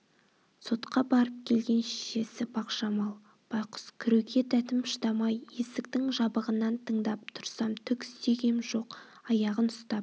сотқа барып келген шешесі бақжамал байқұс кіруге дәтім шыдамай есіктің жабығынан тыңдап тұрсам түк істегем жоқ аяғын ұстап